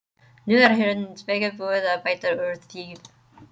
Nú er hins vegar búið að bæta úr því.